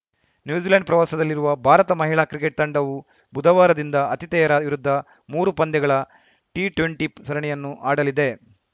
New Zealand ಪ್ರವಾಸದಲ್ಲಿರುವ ಭಾರತ ಮಹಿಳಾ cricket ತಂಡವೂ ಬುಧವಾರದಿಂದ ಆತಿಥೇಯರ ವಿರುದ್ಧ ಮೂರು ಪಂದ್ಯಗಳ ಟಿಟ್ವೆಂಟಿ ಸರಣಿಯನ್ನು ಆಡಲಿದೆ